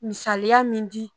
Misaliya min di